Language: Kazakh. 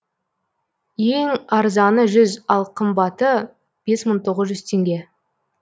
ең арзаны жүз ал қымбаты бес мың тоғыз жүз теңге